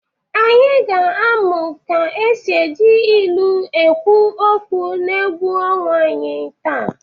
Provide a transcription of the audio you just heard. Anyị ga-amụ ka e si eji ilu ekwu okwu n'egwu ọnwa anyị taa.